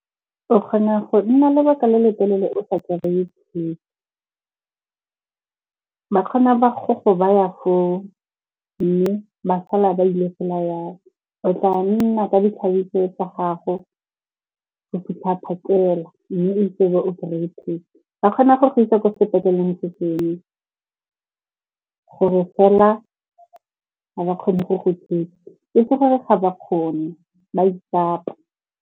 O kgona go nna lebaka le le telele o sa kry-e . Ba kgona ba go go ba ya foo mme ba sala ba ile fela yalo. O tla nna ka ditlhabi tsa gago go fitlha phakela. Mme ba kgona go go isa ko sepetleleng se sengwe gore fela ga ba kgone go go thusa, e se gore ga ba kgone, ba itsapa.